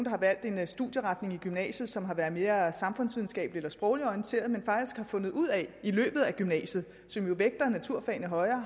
har valgt en studieretning i gymnasiet som har været mere samfundsvidenskabelig eller sprogligt orienteret men faktisk har fundet ud af i løbet af gymnasiet som jo vægter naturfagene højere at